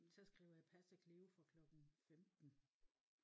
Så skriver jeg passer Cleo fra klokken 15